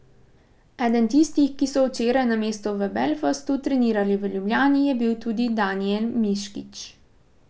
Eden tistih, ki so včeraj namesto v Belfastu trenirali v Ljubljani, je bil tudi Danijel Miškić.